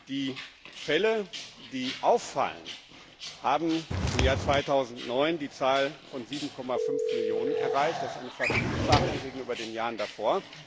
Die Fälle, die auffallen, haben im Jahr 2009 die Zahl von 7,5 Millionen erreicht, das ist eine Vervielfachung gegenüber den Jahren davor.